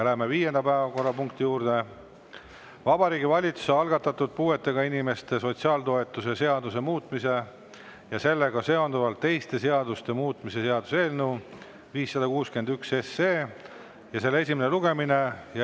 Läheme viienda päevakorrapunkti juurde: Vabariigi Valitsuse algatatud puuetega inimeste sotsiaaltoetuste seaduse muutmise ja sellega seonduvalt teiste seaduste muutmise seaduse eelnõu 561 esimene lugemine.